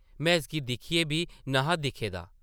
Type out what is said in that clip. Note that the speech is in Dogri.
में इसगी दिक्खियै बी न’हा दिक्खे दा ।